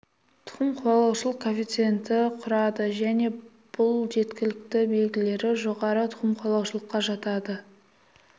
тұқым қуалаушылық коэффициенті құрады және бұл жеткілікті белгілері жоғары тұқым қуалаушылыққа жатады